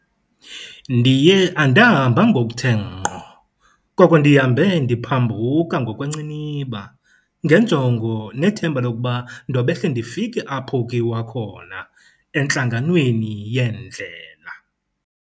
Ndiye andahamba ngokuthe ngqo, koko ndihambe ndiphambuka ngokwenciniba, ngenjongo nethemba lokuba ndobehle ndifike apho kuyiwa khona, entlanganweni yeendlela.